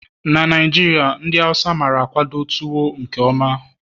na Naijiria ndi Hausa mara-akwado tuwo nke mma